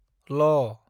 ल